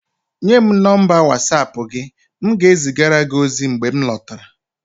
Nye m nọmba Watsapụ gị, m ga-ezigara gị ozi mgbe m lọtara